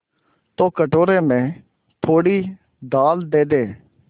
तो कटोरे में थोड़ी दाल दे दे